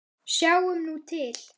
Sjáum nú til?